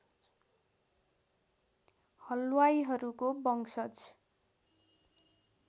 हलवाईहरूको वंशज